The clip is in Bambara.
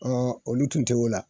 Ɔɔ olu tun t'o la.